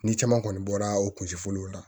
Ni caman kɔni bɔra o kuncɛ fɔlɔ la